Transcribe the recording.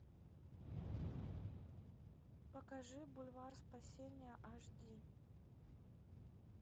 покажи бульвар спасения аш ди